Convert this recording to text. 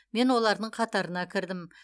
мен олардың қатарына кірдім